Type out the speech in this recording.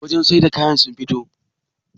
wajen sai da kayan sun fito?